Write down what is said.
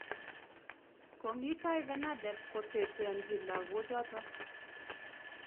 Komii tai FENADEB koteteanchi lagoochoto